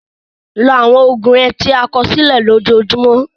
Lo àwọn oògùn rẹ tí a kọ sílẹ̀ lójoojúmọ́.